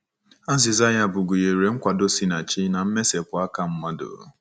Azịza ya bụ gụnyere nkwado si na Chi na mmesapụ aka mmadụ.